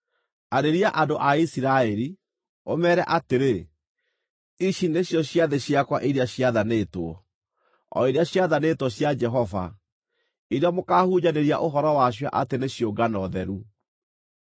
“Arĩria andũ a Isiraeli, ũmeere atĩrĩ: ‘Ici nĩcio ciathĩ ciakwa iria ciathanĩtwo, o iria ciathanĩtwo cia Jehova, iria mũkaahunjanĩria ũhoro wacio atĩ nĩ ciũngano theru.